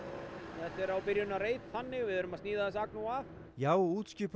en þetta er á byrjunarreit þannig við erum að sníða þessa agnúa af já útskipun